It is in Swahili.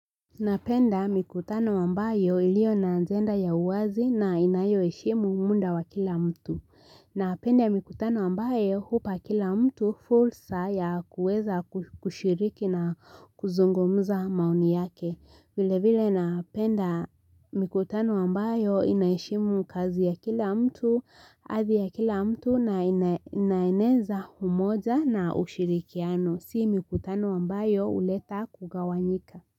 Napenda mikutano ambayo ilio na ajenda ya uwazi na inayo heshimu muda wa kila mtu Napenda mikutano ambayo hupa kila mtu fursa ya kuweza kushiriki na kuzungumza maoni yake vile vile napenda mikutano ambayo inaheshimu kazi ya kila mtu adhi ya kila mtu na inaneza umoja na ushirikiano si mikutano ambayo huleta kugawanyika.